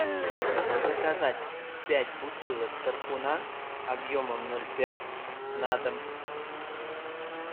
заказать пять бутылок тархуна объемом ноль пять на дом